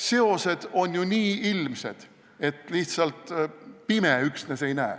Seosed on ju nii ilmsed, et üksnes pime ei näe.